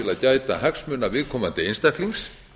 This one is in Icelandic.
gæta hagsmuna viðkomandi einstaklings